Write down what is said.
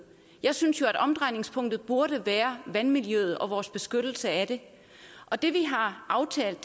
jeg synes jo at omdrejningspunktet burde være vandmiljøet og vores beskyttelse af det og det vi har aftalt